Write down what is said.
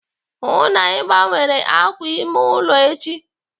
Hụụ na Ị gbanwere àkwà ime ụlọ echi!